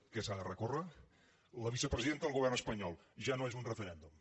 què s’ha de recórrer la vicepresidenta del govern espanyol ja no és un referèndum